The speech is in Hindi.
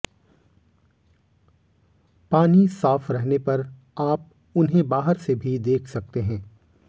पानी साफ रहने पर आप उन्हें बाहर से भी देख सकते हैं